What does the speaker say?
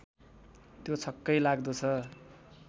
त्यो छक्कै लाग्दो छ